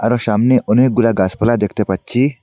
আর সামনে অনেকগুলা গাছপালা দেখতে পাচ্ছি।